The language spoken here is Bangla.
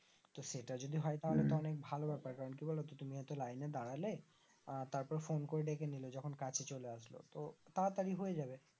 তো সেটা যদি হয় তাহলে উম অনেক ভালো বেপার কারণ কি বলতো তুমি হয়তো লাইনে দাঁড়ালে আর তারপরে ফোন করে ডেকে নিলে যখন কাছে চলে আসলো তো তাড়াতাড়ি হয়ে যাবে